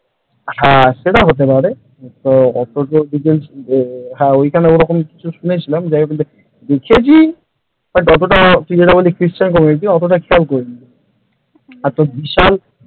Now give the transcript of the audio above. আর সেইটা হতে পারে তো ওইখানে হয়তো এইরকম শুনেছিলাম দেখেছি ওটা অতটা ক্রিশ্চান community ওটা অতটা খেয়াল করিনি এ তো বিশাল,